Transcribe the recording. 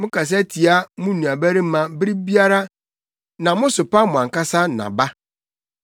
Mokasa tia mo nuabarima bere biara na mosopa mo ankasa na ba.